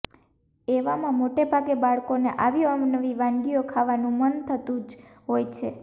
એવા મા મોટેભાગે બાળકો ને આવી અવનવી વાનગીઓ ખાવા નુ મન થતુ જ હોય છે